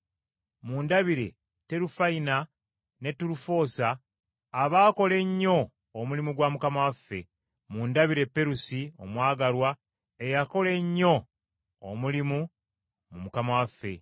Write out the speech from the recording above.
Mundabire Terufayina ne Terufoosa, abaakola ennyo omulimu gwa Mukama waffe. Mundabire Perusi omwagalwa eyakola ennyo omulimu mu Mukama waffe.